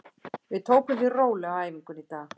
Við tökum því rólega á æfingunni í dag.